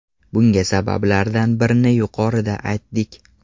Bunga sabablardan birini yuqorida aytdik.